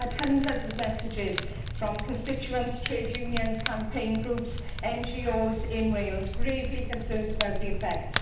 I had hundreds of messages from constituents, trade unions, campaign groups and NGOs in Wales who were gravely concerned about its effects.